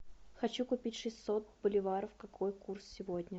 хочу купить шестьсот боливаров какой курс сегодня